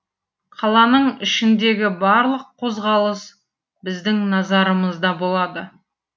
қаланың ішіндегі барлық қозғалыс біздің назарымызда болады